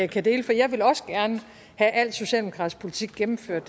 kan dele for jeg vil også gerne have al socialdemokratisk politik gennemført